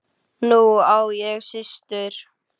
Nú á ég systur.